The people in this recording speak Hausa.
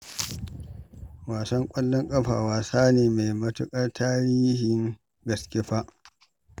Wasan ƙwallon ƙafa wasa ne mai matuƙar tarihin gaske fa